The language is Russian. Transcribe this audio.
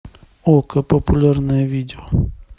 окко популярное видео